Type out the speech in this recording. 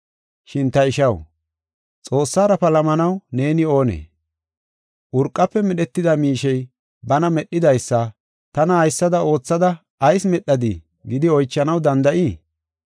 Shin ta ishaw, Xoossara palamanaw neeni oonee? Urqafe Medhetida miishey bana medhidaysa, “Tana haysada oothada ayis medhadii?” gidi oychanaw danda7ii?